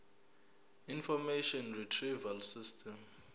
information retrieval system